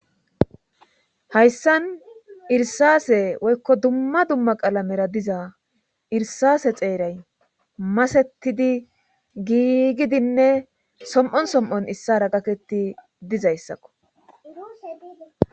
hayssan irsaase woykko dumma dumma qalamera diza irsase xeeray masetidi giigidinne som7on som7on issara gaketti dizayssakko